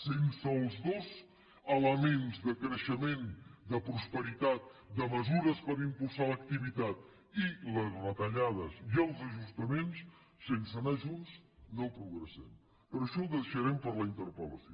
sense els dos elements de creixement de prosperitat de mesures per impulsar l’activitat i les retallades i els ajustaments sense anar junts no progressem però això ho deixarem per a la interpel·lació